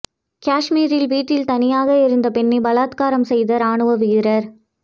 காஷ்மீரில் வீட்டில் தனியாக இருந்த பெண்ணை பலாத்காரம் செய்த ராணுவ வீரர்